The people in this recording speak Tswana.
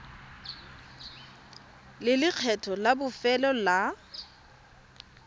le lekgetho la bofelo la